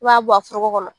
I b'a bɔ a foro kɔnɔ